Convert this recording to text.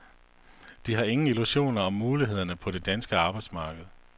De har ingen illusioner om mulighederne på det danske arbejdsmarked.